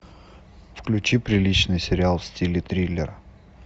включи приличный сериал в стиле триллер